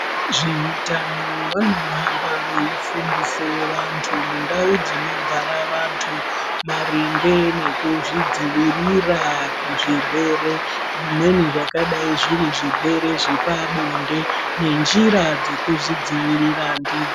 Vezve utano vano hamba vei fundise vantu mu ndau dzinogara vantu maringe nekuzvi dzivirira ku zvirwere zvimweni zvakadai zviri zvirwere zvepa bonde ne njira dze kuzvi dzivirira ndidzo.